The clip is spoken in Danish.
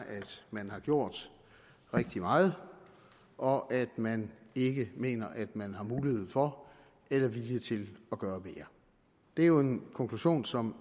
man har gjort rigtig meget og at man ikke mener at man har mulighed for eller vilje til at gøre mere det er jo en konklusion som